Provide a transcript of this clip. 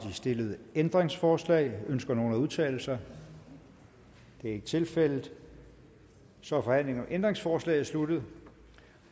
det stillede ændringsforslag ønsker nogen at udtale sig det er ikke tilfældet så er forhandlingen om ændringsforslaget sluttet